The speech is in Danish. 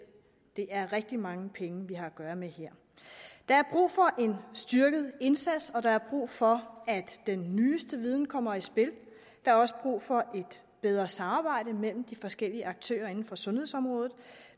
det er rigtig mange penge vi har at gøre med her der er brug for en styrket indsats og der er brug for at den nyeste viden kommer i spil der er også brug for et bedre samarbejde mellem de forskellige aktører inden for sundhedsområdet